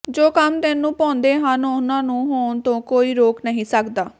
ਜੋ ਕੰਮ ਤੈਨੂੰ ਭਾਉਂਦੇ ਹਨ ਉਨ੍ਹਾਂ ਨੂੰ ਹੋਣ ਤੋਂ ਕੋਈ ਰੋਕ ਨਹੀਂ ਸਕਦਾ